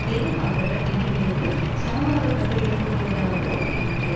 வேவுபார்ப்பவர் என்று நிலைக்கு சமமாக்கப்பட்டுவிடக் கூடியதாக இருந்தது